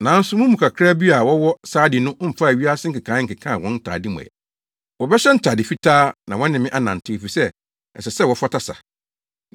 Nanso mo mu kakraa bi a wɔwɔ Sardi no mfaa wiase nkekae nkekaa wɔn ntade mu ɛ. Wɔbɛhyɛ ntade fitaa na wɔne me anantew, efisɛ ɛsɛ, wɔfata sa.